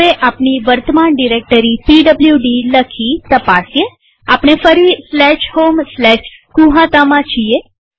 હવે આપણી વર્તમાન ડિરેક્ટરી પીડબ્લુડી લખી તપાસીએઆપણે ફરી homegnuhataમાં છીએ